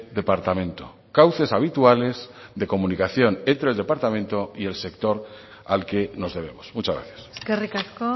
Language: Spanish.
departamento cauces habituales de comunicación entre el departamento y el sector al que nos debemos muchas gracias eskerrik asko